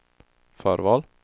förval